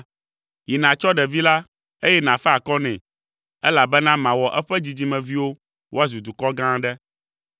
Yi nàtsɔ ɖevi la, eye nàfa akɔ nɛ, elabena mawɔ eƒe dzidzimeviwo woazu dukɔ gã aɖe.”